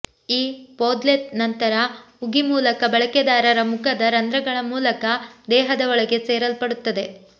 ಈ ಪೋದ್ಲೆತ್ ನಂತರ ಉಗಿ ಮೂಲಕ ಬಳಕೆದಾರರ ಮುಖದ ರಂಧ್ರಗಳ ಮೂಲಕ ದೇಹದ ಒಳಗೆ ಸೇರಲ್ಪಡುತ್ತದೆ